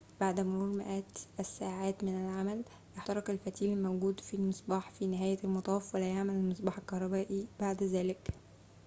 بعد مرور مئات الساعات من العمل يحترق الفتيل الموجود في المصباح في نهاية المطاف ولا يعمل المصباح الكهربائي بعد ذلك